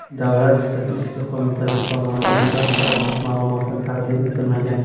Davlat statistika qo‘mitasi tomonidan barcha ochiq ma’lumotlar taqdim etilmagan.